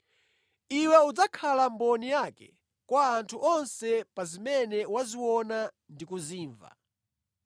Iwe udzakhala mboni yake kwa anthu onse pa zimene waziona ndi kuzimva.